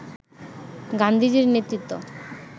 গান্ধীজির নেতৃত্ব